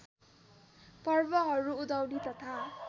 पर्वहरू उधौली तथा